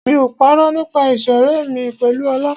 Mi ò parọ́ nípa ìṣọ̀rẹ́ mi pẹ̀lú Ọlá.